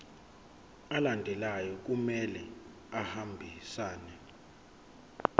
alandelayo kumele ahambisane